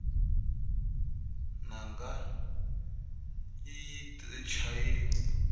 nanga ayi yti chayi